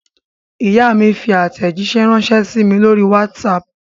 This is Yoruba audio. Ìyá mi fi àtẹ̀jíṣẹ́ ránṣẹ́ sí mi lórí WhatsApp.